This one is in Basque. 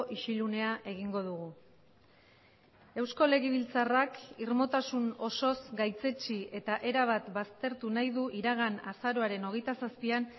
isilunea egingo dugu eusko legebiltzarrak irmotasun osoz gaitzetsi eta erabat baztertu nahi du iragan azaroaren hogeita zazpian